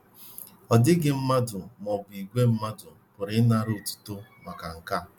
Ọ dịghị mmadụ ma ọ bụ ìgwè mmadụ pụrụ ịnara otuto maka nke a.